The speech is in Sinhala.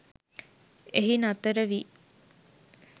එහි නතර වී